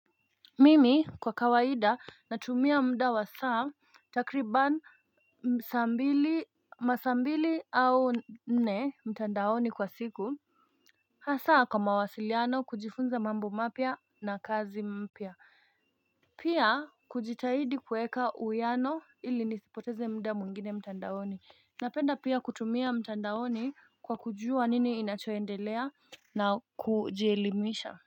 Mimi kwa kawaida natumia mda wa saa takriban saa mbili masaa mbili au nne mtandaoni kwa siku Hasa kwa mawasiliano kujifunza mambo mapia na kazi mpia Pia kujitahidi kueka uwiano ili nisipoteze mda mwingine mtandaoni Napenda pia kutumia mtandaoni kwa kujua nini inachoendelea na kujielimisha.